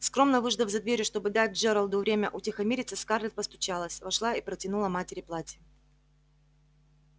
скромно выждав за дверью чтобы дать джералду время утихомириться скарлетт постучалась вошла и протянула матери платье